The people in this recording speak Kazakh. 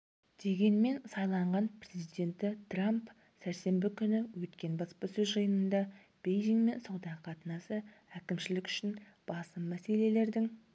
дегенмен сайланған президенті трамп сәрсенбі күні өткен баспасөз жиынында бейжіңмен сауда қатынасы әкімшілік үшін басым мәселелердің